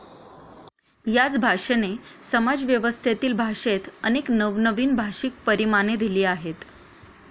याच भाषेने समाजव्यवस्थेतील भाषेत अनेक नवनवीन भाषिक परिमाणे दिली आहेत.